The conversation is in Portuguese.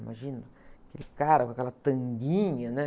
Imagina, aquele cara com aquela tanguinha, né?